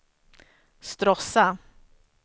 Stråssa